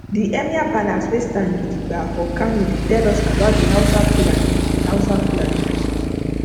the emir palace wey stand gidibga for kano dey tell us about the hausa fulani the hausa fulani pipo